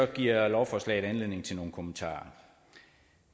giver lovforslaget anledning til nogle kommentarer